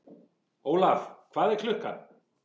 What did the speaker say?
Olaf, hvað er klukkan?